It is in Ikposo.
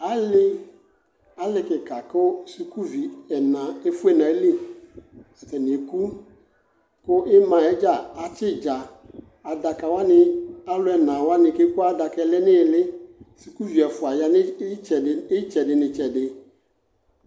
Alɩ, alɩ kɩka kʋ sukuvi ɛna efue nʋ ayili, atanɩ eku kʋ ɩma yɛ atsɩ ɩdza Adaka wanɩ, alʋ ɛna wanɩ kʋ eku adaka yɛ lɛ nʋ ɩɩlɩ Sukuvi ɛfʋa ya nʋ ɩtsɛdɩ, ɩtsɛdɩ nʋ ɩtsɛdɩ